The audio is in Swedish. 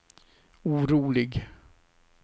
orolig